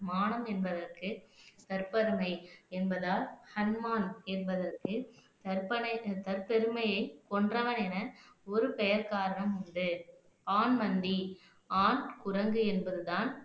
மானம் என்பதற்கு தற்பெருமை என்பதால் ஹனுமான் என்பதற்கு தற்பெருமையை கொன்றவன் என ஒரு பெயர் காரணம் உண்டு ஆண்மந்தி ஆண் குரங்கு என்பதுதான்